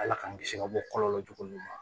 Ala k'an kisi ka bɔ kɔlɔlɔ jugu ma